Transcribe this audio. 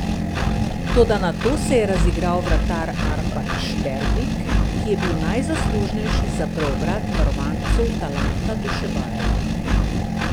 Toda nato se je razigral vratar Arpad Šterbik, ki je bil najzaslužnejši za preobrat varovancev Talanta Dušebajeva.